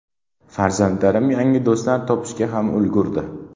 Farzandlarim yangi do‘stlar topishga ham ulgurdi”.